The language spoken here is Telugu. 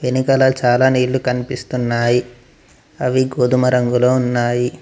వెనకాల చాలా నీళ్లు కనిపిస్తున్నాయి అవి గోధుమ రంగులో ఉన్నాయి.